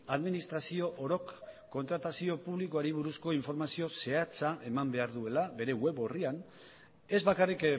administrazio orok kontratazio publikoari buruzko informazio zehatza eman behar duela bere web orrian ez bakarrik